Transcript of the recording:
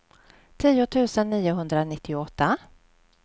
tio tusen niohundranittioåtta